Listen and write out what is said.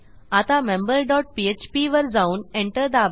आता member dot phpवर जाऊन Enter दाबा